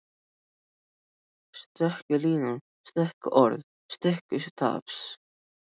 Stöku línur, stöku orð, stöku tafs.